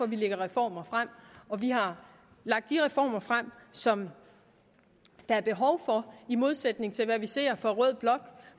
vi lægger reformer frem vi har lagt de reformer frem som der er behov for i modsætning til hvad vi ser fra rød blok